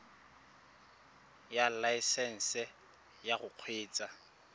ya laesesnse ya go kgweetsa